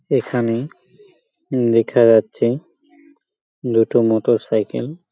এখানে দেখা যাচ্ছে দুটো মটর সাইকেল ।